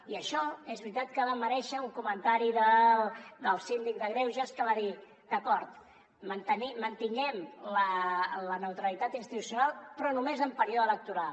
i això és veritat que va merèixer un comentari del síndic de greuges que va dir d’acord mantinguem la neutralitat institucional però només en període electoral